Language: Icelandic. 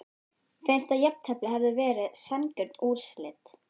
Finnst að jafntefli hefði verið sanngjörn úrslit?